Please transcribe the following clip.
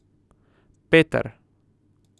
Peter.